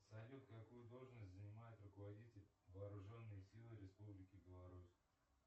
салют какую должность занимает руководитель вооруженных сил республики беларусь